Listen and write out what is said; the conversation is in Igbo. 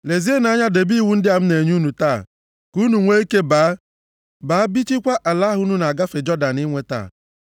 Lezienụ anya debe iwu ndị a m na-enye unu taa, ka unu nwee ike, baa bichikwaa ala ahụ unu na-agafe Jọdan inweta,